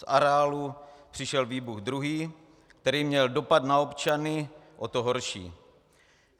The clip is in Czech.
Z areálu přišel výbuch druhý, který měl dopad na občany o to horší.